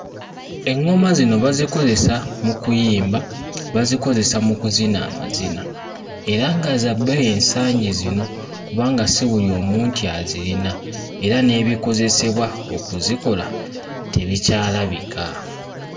Eŋŋoma zino bazikozesa mu kuyimba, bazikozesa mu kuzina amazina, era nga za bbeeyi ensangi zino kubanga si buli omu nti azirina, era n'ebikozesebwa okuzikola tebikyalabika.